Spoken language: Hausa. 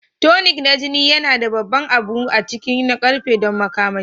Tonic na jini yana da babban abun ciki na ƙarfe don makamashi